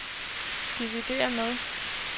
dividér med